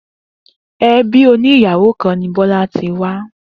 Ebí òní ìyàwó kan ni Bọ́lá ti wá